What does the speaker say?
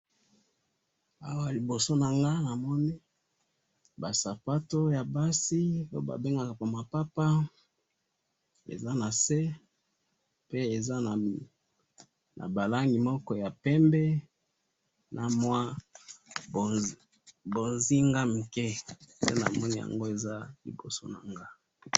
awalibosonango namoni basapato yabasi bobabengaka yango mapapa ezanase pe eza nabalangi moko pembe namwa bonzinga muke ndenamoni liboso nanga